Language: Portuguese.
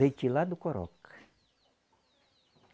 Leite lá do coroca.